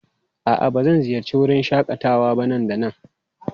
A'a, ba zan ziyarci wurin shakatawa ba nan da nan?